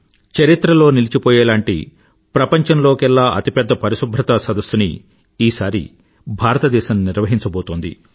చరిత్రలో నిలిచిపోయేలాంటి ప్రపంచంలోకెల్లా అతి పెద్ద పరిశుభ్రతా సదస్సు ని ఈసారి భారతదేశం నిర్వహించబోతోంది